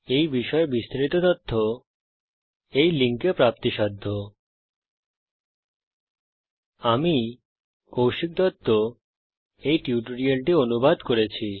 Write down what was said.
এই বিষয়ে বিস্তারিত তথ্য এই লিঙ্কে প্রাপ্তিসাধ্য spoken hyphen tutorial dot org slash NMEICT hyphen intro আমি কৌশিক দত্ত এই টিউটোরিয়ালটি অনুবাদ করেছি